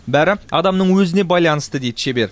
бәрі адамның өзіне байланысты дейді шебер